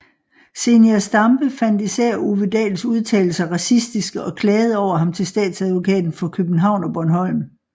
Zenia Stampe fandt især Ove Dahls udtalelser racistiske og klagede over ham til Statsadvokaten for København og Bornholm